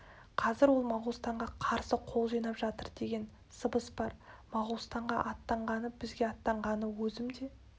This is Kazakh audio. қазір ол моғолстанға қарсы қол жинап жатыр деген сыбыс бар моғолстанға аттанғаны бізге аттанғаны өзім де